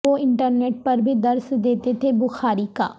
وہ internet پر بھی درس دیتے تھے بخاری کا